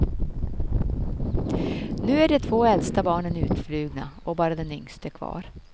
Nu är de två äldsta barnen utflugna och bara den yngste kvar.